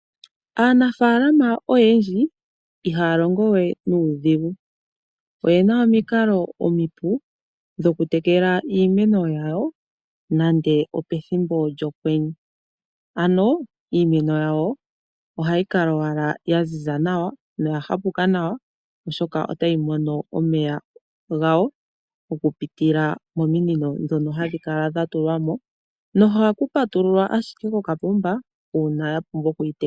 Aanafaalama oyendji ihaya longo we nuudhigu. Oyena omikalo omipu dhokutekela iimeno yawo nande opethimbo lyokwenye. Ano iimeno yawo ohayi kala owala ya ziza nawa noya hapuka nawa oshoka otayi mono omeya gawo okupitila mominino ndhono hadhi kala dha tulwa mo. Nohaku patululwa ashike kokapomba uuna ya pumbwa okuyi tekela.